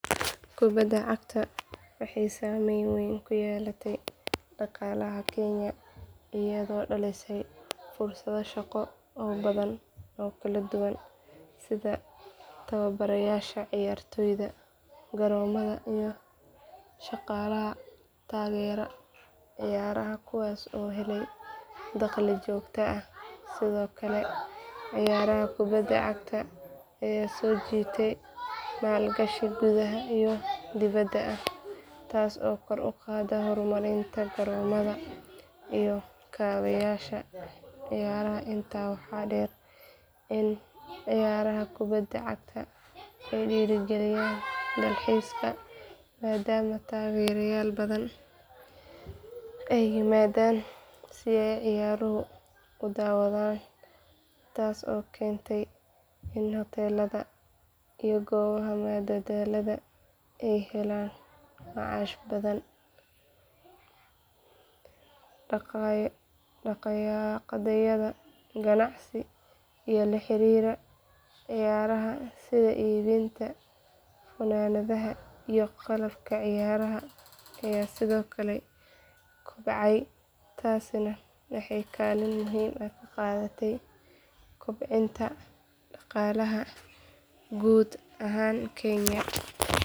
Kubada cagta waxay saamayn weyn ku yeelatay dhaqaalaha kenya iyadoo dhalisay fursado shaqo oo badan oo kala duwan sida tababarayaasha ciyaartoyda garoomada iyo shaqaalaha taageera ciyaaraha kuwaas oo helay dakhli joogto ah sidoo kale ciyaaraha kubada cagta ayaa soo jiitay maalgashi gudaha iyo dibadda ah taas oo kor u qaaday horumarinta garoomada iyo kaabayaasha ciyaaraha intaa waxaa dheer in ciyaaraha kubada cagta ay dhiirrigeliyaan dalxiiska maadaama taageerayaal badan ay yimaadaan si ay ciyaaraha u daawadaan taas oo keentay in hoteellada iyo goobaha madadaalada ay helaan macaash badan dhaqdhaqaaqyada ganacsi ee la xiriira ciyaaraha sida iibinta funaanadaha iyo qalabka ciyaaraha ayaa sidoo kale kobcay taasina waxay kaalin muhiim ah ka qaadatay kobcinta dhaqaalaha guud ahaan kenya.